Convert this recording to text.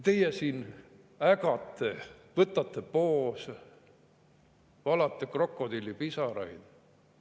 Teie siin ägate, võtate poose, valate krokodillipisaraid.